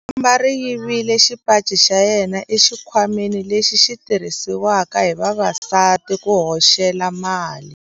Khamba ri yivile xipaci xa yena exikhwameni lexi xi tirhisiwaka hi vavasati ku hoxela mali.